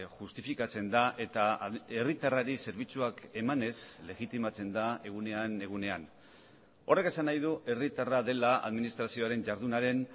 justifikatzen da eta herritarrari zerbitzuak emanez legitimatzen da egunean egunean horrek esan nahi du herritarra dela administrazioaren jardunaren